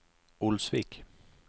Olsvik